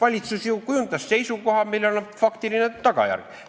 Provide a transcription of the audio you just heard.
Valitsus ju kujundas seisukoha, millel on faktiline tagajärg.